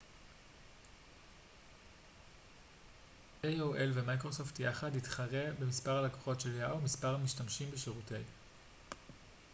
מספר המשתמשים בשירותי yahoo ומיקרוסופט יחד יתחרה במספר הלקוחות של aol